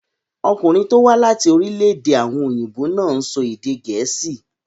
Ọkùnrin tó wá láti orílẹ̀-èdè àwọn òyìnbó náà ń sọ èdè gẹ̀ẹ́sì.